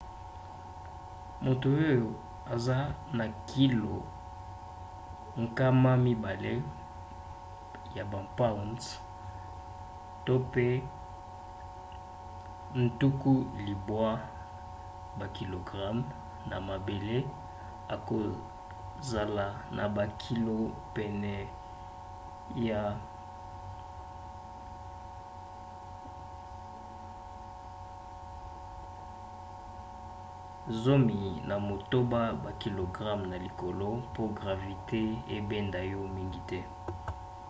moto oyo aza na kilo 200 pounds 90kg na mabele akozala na bakilo pene ya 36 pounds 16kg na likolo. mpo gravite ebenda yo mingi te